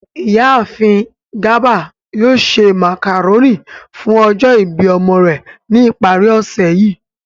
Iyaafin Garba yoo ṣe macaroni fun ọjọ ibi ọmọ rẹ ni ipari osẹ yii.